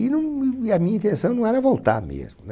E num e a minha intenção não era voltar mesmo, né?